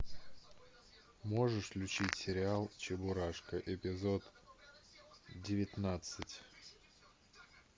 можешь включить сериал чебурашка эпизод девятнадцать